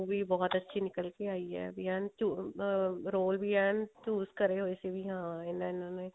ਵੀ ਬਹੁਤ ਅੱਛੀ ਨਿਕਲ ਕੇ ਆਈ ਵੀ ਏਨ ਅਮ role ਵੀ ਏਨ choose ਕਰੇ ਹੋਏ ਵੀ ਇਹਨਾ ਇਹਨਾ ਨੇ